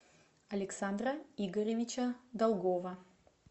александра игоревича долгова